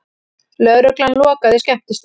Lögregla lokaði skemmtistað